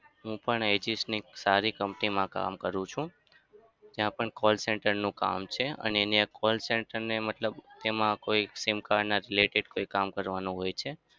હું પણ ની એક સારી company મા કામ કરું છું. ત્યાં પણ call center નું કામ છે અને ત્યાં call center ને મતલબ એમાં કોઈ SIM card ના related કોઈ કામ કરવાનું હોય છે.